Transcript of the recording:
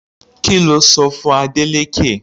Kí lo sọ fún Adeleke?